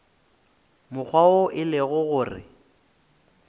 mokgwa wo e lego gore